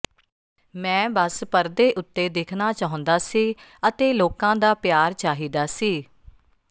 ਮੈ ਬਸ ਪਰਦੇ ਉੱਤੇ ਦਿਖਣਾ ਚਾਹੁੰਦਾ ਸੀ ਅਤੇ ਲੋਕਾਂ ਦਾ ਪਿਆਰ ਚਾਹੀਦਾ ਸੀ